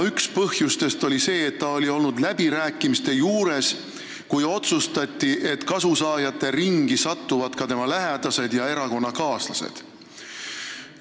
Üks põhjus oli see, et ta oli olnud läbirääkimiste juures, kui otsustati, et kasusaajate ringi satuvad ka tema lähedased ja erakonnakaaslased.